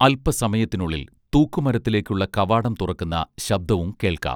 അല്പസമയത്തിനുള്ളിൽ തൂക്കുമരത്തിലേക്കുള്ള കവാടം തുറക്കുന്ന ശബ്ദവും കേൾക്കാം